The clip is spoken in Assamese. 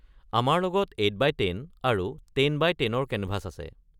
আমাৰ লগত ৮x১০ আৰু ১০x১০ -ৰ কেনভাছ আছে।